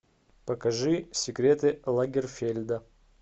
покажи секреты лагерфельда